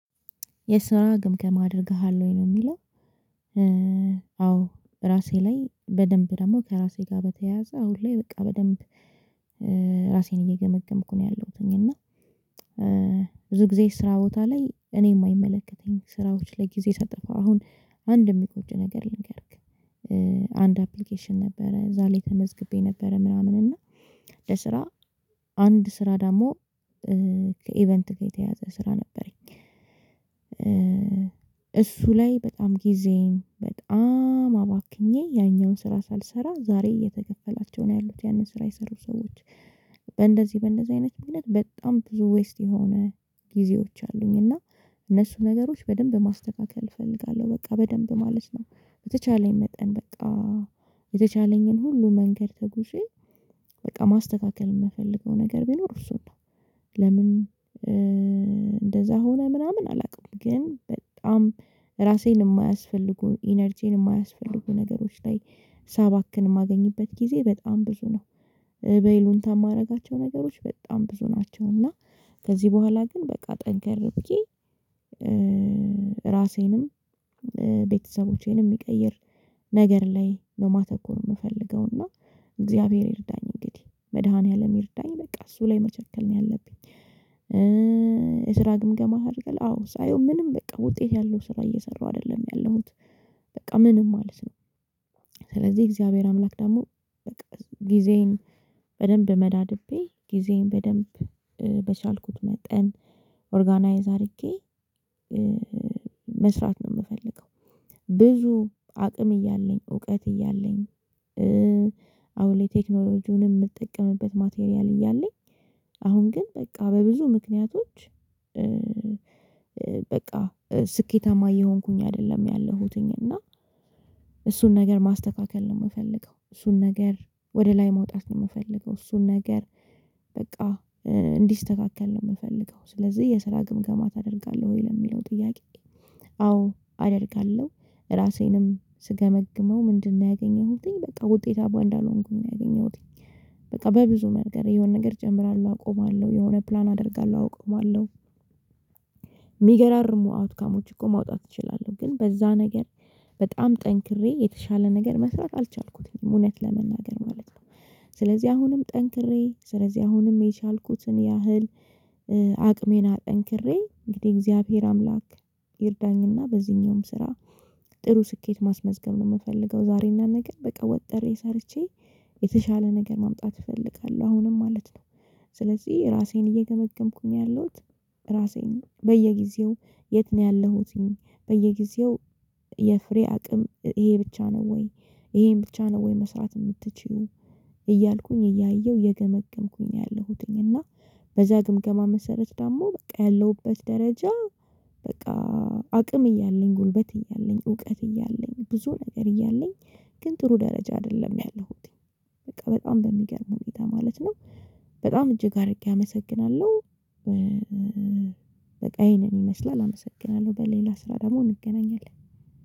የስራ ግምገማ አደርግሃለሁኝ ነው የሚለው። አዎ ራሴ ላይ በደንብ ደግሞ ከራሴ ጋር በተያያዘ አሁን ላይ በቃ በደንብ ራሴን እየገመገምኩ ነው ያለሁትኝ። እና ብዙ ጊዜ ስራ ቦታ ላይ እኔ የማይመለከተኝ ስራዎች ላይ ጊዜ ሳጠፋ አሁን አንድ የሚቆጭ ነገር ልንገርክ። አንድ አፕሊኬሽን ነበረ እዛ ላይ ተመዝግቤ ነበረ ምናምን እና ለስራ አንድ ስራ ደግሞ ከኢቨንት ጋር የተያያዘ ስራ ነበረኝ። እሱ ላይ በጣም ጊዜን በጣም አባክኜ ያኛውን ስራ ሳልሰራ ዛሬ እየተከፈላቸው ነው ያሉት ያንን ስራ የሰሩት ሰዎች። በእንደዚህ በእንደዚህ አይነት ምክንያት በጣም ብዙ ዌስት የሆነ ጊዜዎች አሉኝ። እና እነሱ ነገሮች በደንብ ማስተካከል እፈልጋለሁ በቃ በደንብ ማለት ነው። በተቻለኝ መጠን በቃ የተቻለኝን ሁሉ መንገድ ተጉዤ በቃ ማስተካከል የምፈልገው ነገር ቢኖር እሱ ነው። ለምን እንደዛ ሆነ ምናምን አላውቅም። ግን በጣም ራሴን የማያስፈልጉ ኢነርጂን የማያስፈልጉ ነገሮች ላይ ሳባክን የማገኝበት ጊዜ በጣም ብዙ ነው። በይሉኝታ የማደርጋቸው ነገሮች በጣም ብዙ ናቸው። እና ከዚህ በኋላ ግን በቃ ጠንካር ብዬ ራሴንም ቤተሰቦቼንም የሚቀይር ነገር ላይ ነው ማተኮር የምፈልገው። እና እግዚአብሔር ይርዳኝ እንግዲህ መድኃኒዓለም ይርዳኝ በቃ እሱ ላይ መቸከል ነው ያለብኝ። የስራ ግምገማ አድርገህ አዎ ሳየው ምንም በቃ ውጤት ያለው ስራ እየሰራው አይደለም ያለሁት። በቃ ምንም ማለት ነው። ስለዚህ እግዚአብሔር አምላክ ደግሞ በቃ ጊዜዬን በደንብ መዳድቤ ጊዜዬን በደንብ በቻልኩት መጠን ኦርጋናይዝ አድርጌ መስራት ነው የምፈልገው። ብዙ አቅም እያለኝ እውቀት እያለኝ አሁን ላይ ቴክኖሎጂውን የምጠቀምበት ማቴሪያል እያለኝ አሁን ግን በቃ በብዙ ምክንያቶች። በቃ ስኬታማ እየሆንኩኝ አይደለም ያለሁትኝ እና እሱን ነገር ማስተካከል ነው የምፈልገው። እሱን ነገር ወደ ላይ መውጣት ነው የምፈልገው። እሱን ነገር በቃ እንዲስተካከል ነው የምፈልገው። ስለዚህ የስራ ግምገማ ታደርጋለህ ወይ ለሚለው ጥያቄ? አዎ አደርጋለሁ። ራሴንም ስገመግመው ምንድነው? ያገኘሁትኝ በቃ ውጤታማ እንዳልሆንኩኝ ነው ያገኘሁትኝ። በቃ በብዙ መንገር የሆነ ነገር ጀምራላሁ አቆማለሁ የሆነ ፕላን አደርጋለሁ አቆማለሁ። የሚገራርሙ አውትካሞች እኮ ማውጣት እችላለሁ ግን በዛ ነገር በጣም ጠንክሬ የተሻለ ነገር መስራት አልቻልኩትም እውነት ለመናገር ማለት ነው። ስለዚህ አሁንም ጠንክሬ ስለዚህ አሁንም የቻልኩትን ያህል አቅሜን አጠንክሬ እንግዲህ የእግዚአብሔር አምላክ ይርዳኝና በዚህኛውም ስራ ጥሩ ስኬት ማስመዝገብ ነው የምፈልገው። ዛሬና ነገር በቃ ወጥሬ ሰርቼ የተሻለ ነገር ማምጣት እፈልጋለሁ አሁንም ማለት ነው። ስለዚህ ራሴን እየገመገምኩኝ ያለሁት ራሴን በየጊዜው የት ነው ያለሁትኝ? በየጊዜው የፍሬ አቅም ይሄ ብቻ ነው ወይ? ይሄን ብቻ ነው ወይ? መስራት የምትችይው እያልኩኝ እያየሁ እየገመገምኩኝ ነው ያለሁትኝ። እና በዛ ግምገማ መሰረት ደግሞ በቃ ያለሁበት ደረጃ በቃ አቅም እያለኝ ጉልበት እያለኝ እውቀት እያለኝ ብዙ ነገር እያለኝ ግን ጥሩ ደረጃ አይደለም ያለሁትኝ። በቃ በጣም በሚገርም ሁኔታ ማለት ነው። በጣም እጅግ አድርጌ አመሰግናለሁ። በቃ ይሄንን ይመስላል አመሰግናለሁ በሌላ ስራ ደግሞ እንገናኛለን